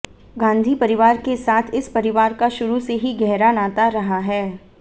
गांधी परिवार के साथ इस परिवार का शुरू से ही गहरा नाता रहा है